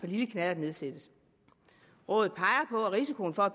lille knallert nedsættes rådet peger på at risikoen for at